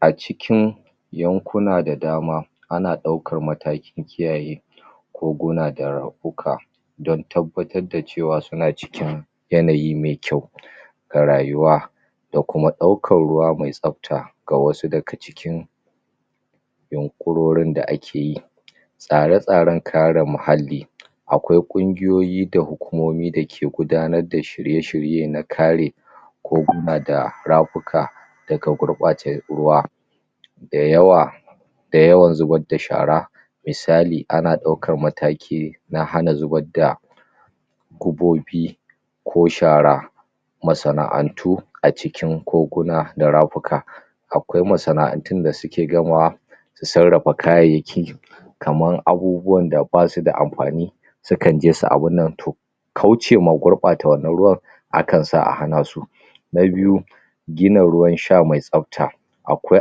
A cikin yankuna da dama ana ɗaukar matakin kiyaye koguna da kuka dan tabbatar da cewa suna cikin yanayi mai kyau a rayuwa da kuma ɗaukar ruwa mai tsabta ga wasu daga cikin yunƙurorin da ake yi tsare-tsaren kare muhalli akwai ƙunguyoyi da hukumomi dake gudanar shirye-shirye na kare koguna da rafuka daga gurɓatar ruwa da yawa da yawan zubar da shara misali ana ɗukar mataki eh na hana zubar da kubobi ko shara masana'antu a cikin koguna da rafuka akwai masana'antun da suke gamawa da sarrafa kayayyaki kamar abubuwan da ba su da amfani sukan je su abin nan to kaucewa gurɓata wannan ruwan akan sa a hana su na biyu gina ruwan sha mai tsabta akwai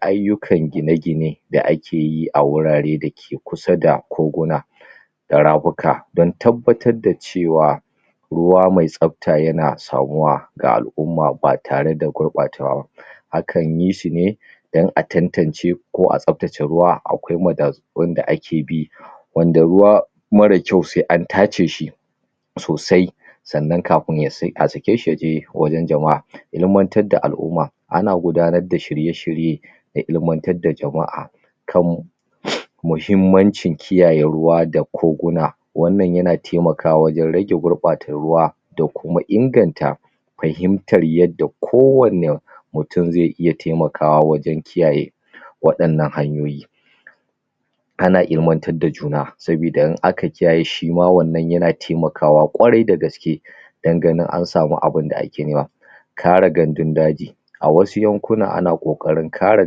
ayyukan gine-gine da ake yi a wurare dake kusa da koguna da rafuka dan tabbatar da cewa ruwa mai tsabta yana samuwa ga al'umma ba tare da gurɓatawa akan yi su ne dan a tantance ko a tsabtace ruwa akwai madatsu wanda ake bi wanda ruwa mara kyau sai an tace shi sosai sannan kafin a sake shi ya je wurin jama'a ilimantar da al'umma ana gudanar da shirye-shirye da ilimantar da jama'a kam muhimmancin kiyaye ruwa da koguna wannan yana taimakawa wajen rage gurɓatar ruwa da kuma inganta fahimtar yadda kowanne mutum zai iya taimakawa waje kiyaye waɗannan hanyoyi ana ilimantar da juna saboda idan aka kiyaye shi wannan yana taimakawa kwarai da gaske dan ganin an sami sabin da ake yi wa kare gandun daji a wasu yankuna ana ƙoƙarin kare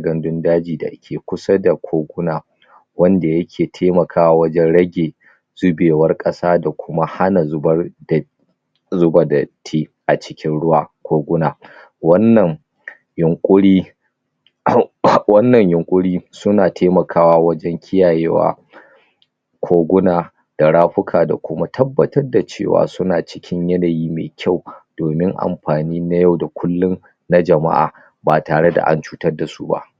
gandun daji da ke kusa da koguna wanda yake taimakawa wajen rage zubewar ƙasa da kuma hana zubar da zuba datti a cikin ruwa koguna wannan yunƙuri uhm uhm wannan yunƙuri sana taimakawa wajen kiyaye wa koguna da rafuka da kuma tabbatar da cewa suna cikin yanayi mai kyau domin amfani na yau da kullum na jama'a ba tare da an cutar da su ba.